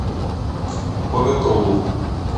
боготолу